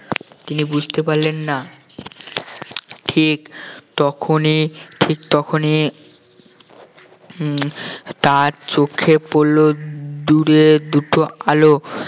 তিনি বুঝতে পারলেন না ঠিক তখনই ঠিক তখনই উম তার চোখে পড়লো দূরে দুটো আলো